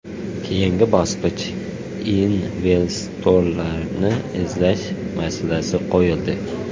Keyingi bosqichda investorlarni izlash masalasi qo‘yildi.